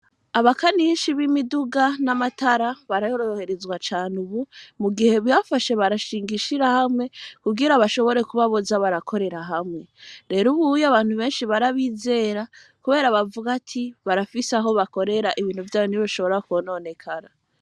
Abakanishi bimiduga namatara baroroherezwa cane ubu mu gihe bafashe barashinga ishiramwe kugira bashobore kuba boza barakorera hamwe rero ubu Abantu barabizera kubera bavuga ko ibintu vyabo ntibishobora kwononekara.